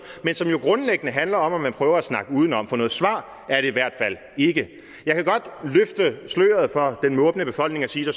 men som grundlæggende handler om at man prøver at snakke udenom for noget svar er det i hvert fald ikke jeg kan godt løfte sløret over for den måbende befolkning og sige at